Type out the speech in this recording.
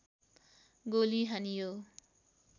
गोली हानियो